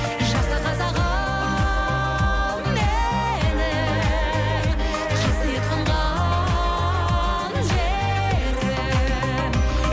жаса қазағым менің қасиет қонған жерім